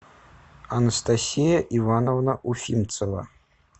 анастасия ивановна уфимцева